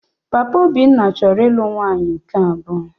Papa Obinna chọrọ ịlụ nwaanyị nke abụọ